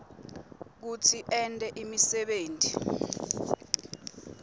kutsi ente imisebenti